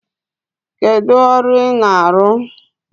Kedu ọrụ ị na-arụ?